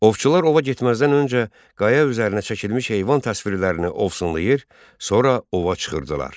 Ovçular ova getməzdən öncə qaya üzərinə çəkilmiş heyvan təsvirlərini ovsunlayır, sonra ova çıxırdılar.